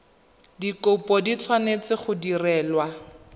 dikopo di tshwanetse go direlwa